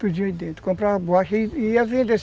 Podia ir dentro, comprava borracha e ia vendo